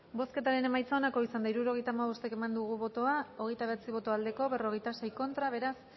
bozketaren emaitza onako izan da hirurogeita hamabost eman dugu bozka hogeita bederatzi boto aldekoa cuarenta y seis contra beraz